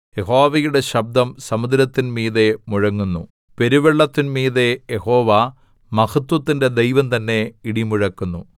യഹോവയുടെ ശബ്ദം സമുദ്രത്തിൻമീതെ മുഴങ്ങുന്നു പെരുവെള്ളത്തിൻമീതെ യഹോവ മഹത്ത്വത്തിന്റെ ദൈവം തന്നെ ഇടിമുഴക്കുന്നു